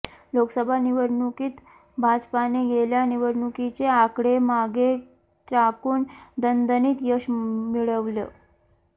लोकसभा निवडणुकीत भाजपाने गेल्या निवडणुकीचे आकडे मागे टाकून दणदणीत यश मिळवलं